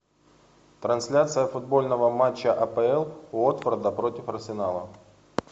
трансляция футбольного матча апл уотфорда против арсенала